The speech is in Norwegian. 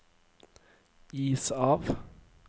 is av